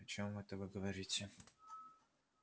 о чём это вы говорите